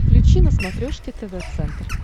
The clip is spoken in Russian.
включи на смотрешке тв центр